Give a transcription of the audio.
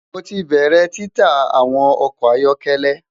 Mo ti bẹrẹ tita awọn ọkọ ayọkẹlẹ